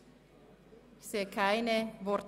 4. Dezember 2017, 17.00–19.00 Uhr